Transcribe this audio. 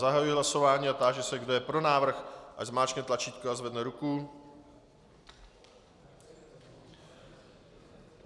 Zahajuji hlasování a táži se, kdo je pro návrh, ať zmáčkne tlačítko a zvedne ruku.